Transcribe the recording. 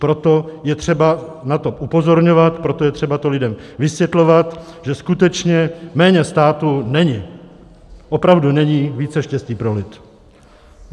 Proto je třeba na to upozorňovat, proto je třeba to lidem vysvětlovat, že skutečně méně státu není, opravdu není více štěstí pro lid.